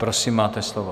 Prosím, máte slovo.